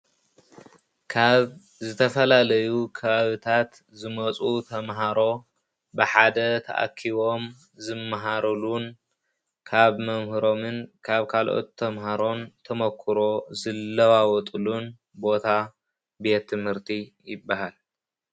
ካብ ዝተፈላለዩ ከባቢታት ዝመፁ ተማሃሮ ብሓደ ተኣኪቦም ዝመሃሩሉን ካብ መምህሮምን ካብ ካልኦት ተማሃሮን ተመክሮ ዝለዋወጥሉን ቦታ ቤት ትምሀርቲ ይበሃል።